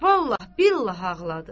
Vallahi billah ağladı.